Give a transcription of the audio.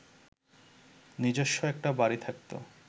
নিজস্ব একটা বাড়ি থাকত